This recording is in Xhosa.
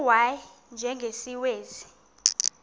u y njengesiwezi